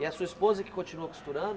E a sua esposa que continua costurando?